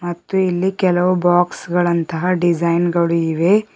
ಮತ್ತು ಇಲ್ಲಿ ಕೆಲವು ಬಾಕ್ಸ್ ಗಳಂತಹ ಡಿಸೈನ್ ಗಳು ಇವೆ.